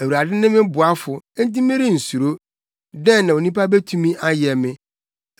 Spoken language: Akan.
Awurade ne me boafo; enti merensuro. Dɛn na onipa betumi ayɛ me?